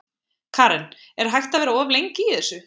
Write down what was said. Karen: Er hægt að vera of lengi í þessu?